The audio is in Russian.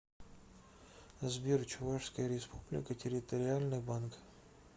сбер чувашская республика территориальный банк